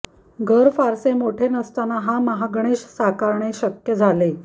घर फारसे मोठे नसताना हा महागणेश साकारणे शक्य झाले